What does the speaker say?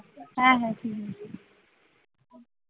হ্যাঁ হ্যাঁ ঠিক আছে